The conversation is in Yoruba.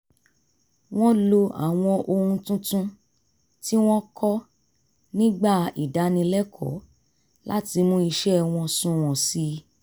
wọ́n lo àwọn ohun tuntun tí wọ́n kọ́ nígbà ìdánilẹ́kọ̀ọ́ láti mú iṣẹ́ wọn sunwọ̀n sí i